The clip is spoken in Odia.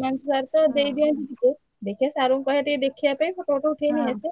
ma'am sir ତ ଦେଇଦିଅନ୍ତି ଟିକେ ଦେଖିଆ sir ଙ୍କୁ କହିଆ ଟିକେ ଦେଖିଆ ପାଇଁ photo photo ଉଠେଇ ନେଇଆସିଆ।